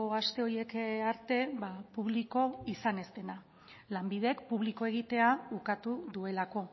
aste horiek arte publiko izan ez dena lanbidek publiko egitea ukatu duelako